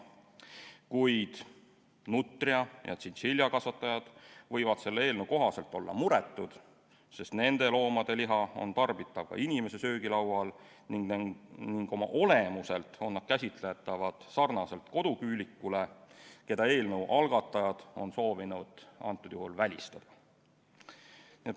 Kuid nutria‑ ja tšintšiljakasvatajad võivad selle eelnõu kohaselt muretud olla, sest nende loomade liha on söödav ning oma olemuselt on nad käsitatavad sarnaselt koduküülikule, keda eelnõu algatajad on soovinud välistada.